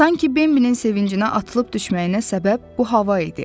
Sanki Bimbinin sevincinə, atılıb düşməyinə səbəb bu hava idi.